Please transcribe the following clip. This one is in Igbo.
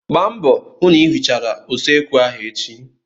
Gbaa mbọ hụ na ị hichara usekwu ahụ echi!